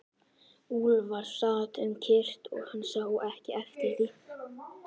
Úlfar sat um kyrrt og hann sá ekki eftir því.